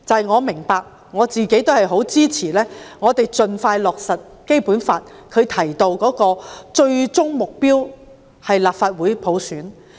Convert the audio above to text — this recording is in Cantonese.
我明白，我自己亦支持盡快落實《基本法》訂明的最終目標，即普選立法會。